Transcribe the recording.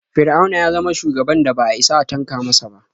Fir'auna ya zama shugaban da ba a isa a tanka masa ba.